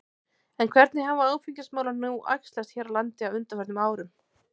En hvernig hafa áfengismálin nú æxlast hér á landi á undanförnum árum?